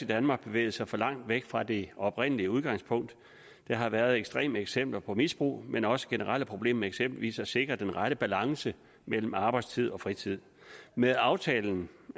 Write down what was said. danmark bevæget sig for langt væk fra det oprindelige udgangspunkt der har været ekstreme eksempler på misbrug men også generelle problemer med eksempelvis at sikre den rette balance mellem arbejdstid og fritid med aftalen